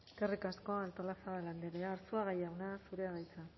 eskerrik asko artolazabal andrea arzuaga jauna zurea da hitza